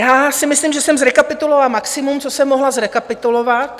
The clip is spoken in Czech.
Já si myslím, že jsem zrekapitulovala maximum, co jsem mohla zrekapitulovat.